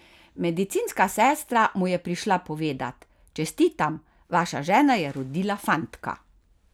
Medicinska sestra mu je prišla povedat: "Čestitam, vaša žena je rodila fantka.